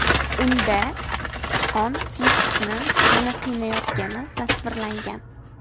Unda sichqon mushukni yana qiynayotgani tasvirlangan.